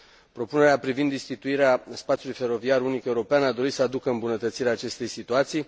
Propunerea privind instituirea spațiului feroviar unic european a dorit să aducă îmbunătățirea acestei situații.